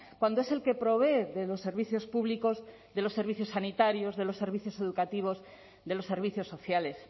cuando es el que provee de los servicios públicos de los servicios sanitarios de los servicios educativos de los servicios sociales